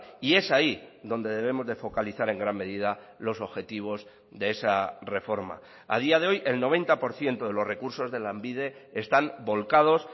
y es ahí donde debemos de focalizar en gran medida los objetivos de esa reforma a día de hoy el noventa por ciento de los recursos de lanbide están volcados